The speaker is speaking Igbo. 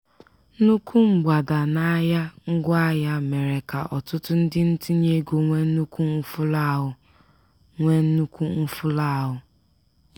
nnukwu mgbada n'ahịa ngwaahịa mere ka ọtụtụ ndị ntinyeego nwee nnukwu mfulahụ. nwee nnukwu mfulahụ.